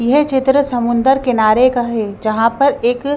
यह चित्र समुंदर किनारे का है जहाँ पर एक--